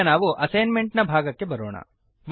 ಈಗ ನಾವು assignment ಭಾಗಕ್ಕೆ ಬರೋಣ